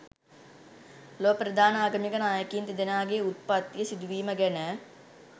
ලොව ප්‍රධාන ආගමික නායකයින් දෙදෙනාගේ උත්පත්තිය සිදුවීම ගැන